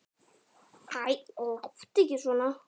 Æ, láttu ekki svona.